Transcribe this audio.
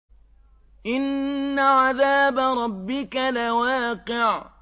إِنَّ عَذَابَ رَبِّكَ لَوَاقِعٌ